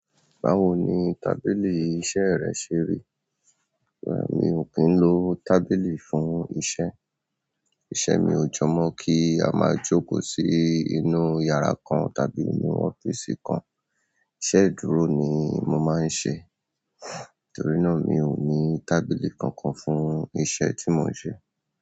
Báwo ni tábìlì ìṣe rẹ ṣe rí. Rárá mi ò kín lo tábìlì fún iṣẹ́. Iṣẹ́ mi ò jọ mọ́ kí a máa jókòó sí inú iyàrá kan tàbí inú ọ́fíìsì kan. Iṣẹ́ ìdúró ni mo màá ń ṣe nítorí náà mi ò ní tábìlì kankan fún iṣẹ́ tí mò ń ṣe.